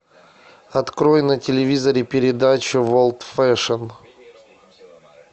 открой на телевизоре передачу ворлд фэшн